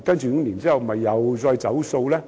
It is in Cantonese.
五年後是否又再"走數"？